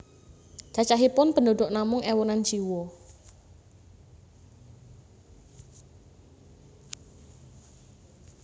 Cacahipun penduduk namung ewunan jiwa